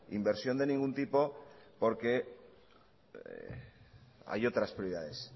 inversión de ningún tipo porque hay otras prioridades